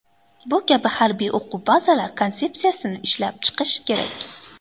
Bu kabi harbiy o‘quv bazalar konsepsiyasini ishlab chiqish kerak.